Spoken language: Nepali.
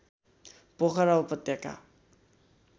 पोखरा उपत्यका